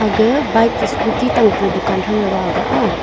ga bike chi scooty tang pe dukan thang daga aga a.